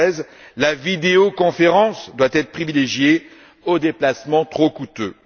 2013. La vidéoconférence doit être privilégiée par rapport aux déplacements trop coûteux.